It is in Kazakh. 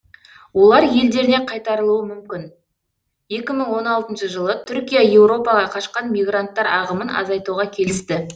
олар елдеріне қайтарылуы мүмкін екі мың он алтыншы жылы түркия еуропаға қашқан мигранттар ағымын азайтуға келісті